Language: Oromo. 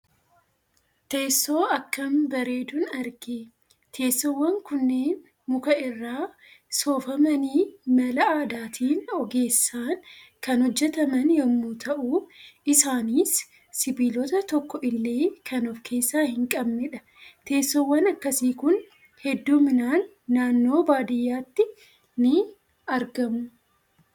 Teessoo akkaam bareedun argee. Teessoowwan kunneen muka irraa soofamanii mala aadaatiin ogeessaan kan hojjetaman yemmuu ta'u isaanis sibiilota tokko illee kan of keessaa hin qabnedha. Teessoowwan akkasii Kun heddumminaan naannoo baadiyyaatti ni argamu.